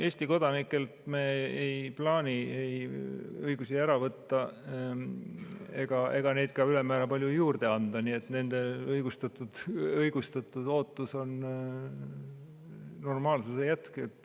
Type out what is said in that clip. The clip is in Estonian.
Eesti kodanikelt me ei plaani ei õigusi ära võtta ega neid ka ülemäära palju juurde anda, nii et nende õigustatud ootus on normaalsuse jätkumine.